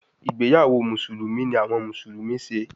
Igbeyawo Musulumi ni awọn Musulumi ṣe